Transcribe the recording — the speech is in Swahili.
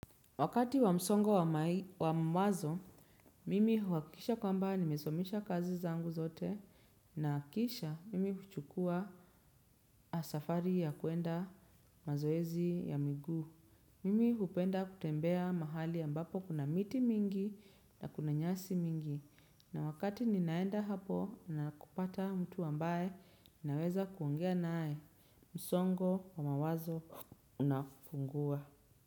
Wakati wa msongo wa mawazo, mimi huhakikisha kwamba nimesomesha kazi zangu zote nahakikisha mimi huchukua safari ya kuenda mazoezi ya miguu. Mimi hupenda kutembea mahali ambapo kuna miti mingi na kuna nyasi mingi na wakati ninaenda hapo na kupata mtu ambaye naweza kuongea naae, msongo wa mawazo unafungua.